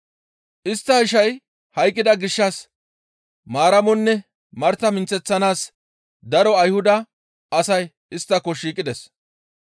Istta ishay hayqqida gishshas Maaramonne Marta minththeththanaas daro Ayhuda asay isttako shiiqides.